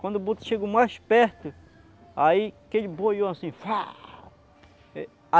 Quando o boto chegou mais perto, aí que ele boiou assim Faah.